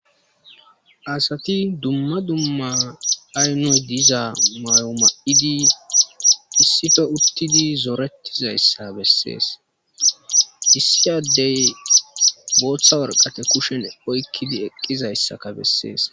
Asati dumma dumma aynu diza mayo ma7idi issife uttidi zoorettizayssa bessees issiyaddey booththa warqate kushen oykkidi eqqizayssaka bessees.